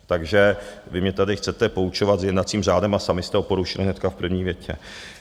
Takže vy mě tady chcete poučovat s jednacím řádem a samy jste ho porušily hnedka v první větě.